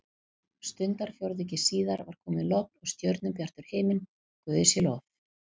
Stundarfjórðungi síðar var komið logn og stjörnubjartur himinn, guði sé lof.